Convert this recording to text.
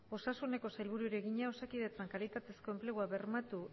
osasuneko sailburuari egina osakidetzan kalitatezko enplegua bermatu